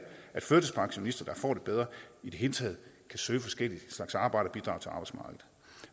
at førtidspensionister der får det bedre i det hele taget kan søge forskellige slags arbejde